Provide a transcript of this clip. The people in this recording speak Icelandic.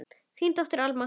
Þín dóttir, Alma.